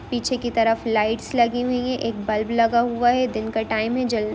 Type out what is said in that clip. पीछे की तरफ लाइट्स लगी हुई है एक बल्ब लगा हुआ है दिन का टाइम है जल--